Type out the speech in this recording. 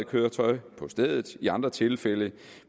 køretøj på stedet i andre tilfælde